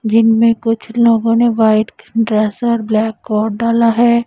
जिनमें कुछ लोगों ने व्हाइट ड्रेस और ब्लैक कोट डाला है।